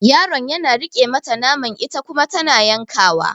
Yaron yana riƙe mata naman ita kuma tana yanka wa